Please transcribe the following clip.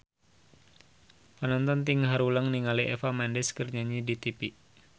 Panonton ting haruleng ningali Eva Mendes keur nyanyi di tipi